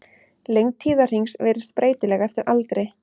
Lengd tíðahrings virðist breytileg eftir aldri.